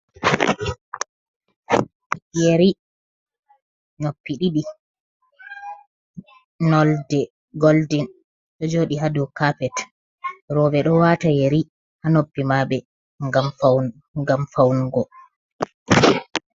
Yeri. Noppi ɗiɗi nolde goldin ɗo jooɗi ha dow kaapet. Rooɓe ɗo waata yeri ha noppi maɓɓe ngam fawnugo.